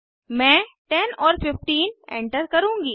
मैं 10 और 15 एंटर करुँगी